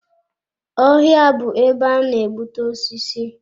Ọhịa bụ ebe a na-ebute osisi.